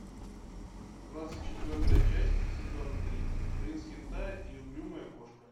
двадцать четвертая часть сезона три принц хентая и угрюмая кошка